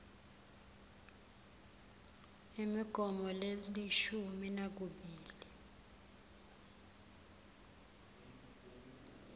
imigomo lelishumi nakubili